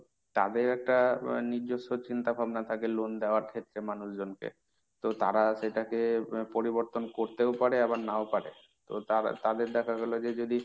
তাদের একটা আহ নিজস্ব চিন্তাভাবনা থাকে loan দেওয়ার ক্ষেত্রে মানুষজনকে। তো তারা সেটাকে পরিবর্তন করতেও পারে আবার নাও পারে। তো তা~ তাদের দেখা গেল যে যদি,